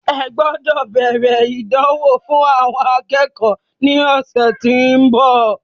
Ẹ gbọ́dọ̀ bẹ̀rẹ̀ ìdánwò fún àwọn akẹ́kọ̀ọ́ ní ọ̀sẹ̀ tí ó ń bọ̀.